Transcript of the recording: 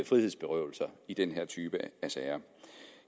frihedsberøvelse i den her type sager